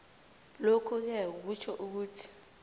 lokhuke kutjho ukuthi